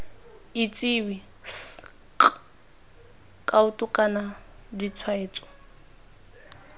itsewe sk kaoto kana ditshwaetso